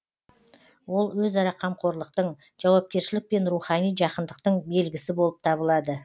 ол өзара қамқорлықтың жауапкершілік пен рухани жақындықтың белгісі болып табылады